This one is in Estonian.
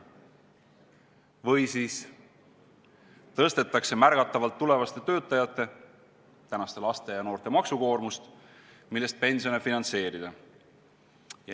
Või siis tõstetakse märgatavalt tulevaste töötajate, tänaste laste ja noorte maksukoormust, millest pensione finantseerida.